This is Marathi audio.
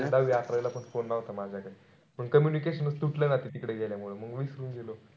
दहावी अकरावी ला पण phone नव्हता माझ्याकडे. मग communication च तुटला ना ती तिकडे गेल्यामुळे. मंग विसरून गेलो.